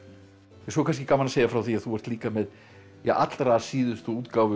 svo er kannski gaman að segja frá því að þú ert líka með allra síðustu útgáfu